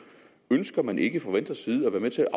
ønsker man ikke fra venstres side at være med til